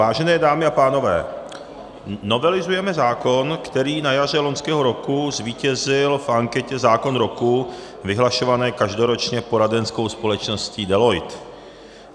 Vážené dámy a pánové, novelizujeme zákon, který na jaře loňského roku zvítězil v anketě Zákon roku vyhlašované každoročně poradenskou společností Deloitte.